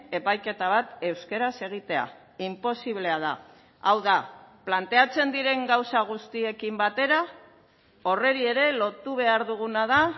epaiketa bat euskaraz egitea inposiblea da hau da planteatzen diren gauza guztiekin batera horri ere lotu behar duguna da